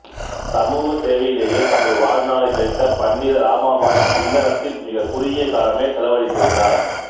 சமூக சேவையிலையே தமது வாழ்நாளைக் கழித்த பண்டித இராமாபாய் இல்லறத்தில் மிகக் குறுகிய காலமே செலவழித்திருந்தார்